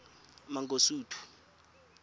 mangosuthu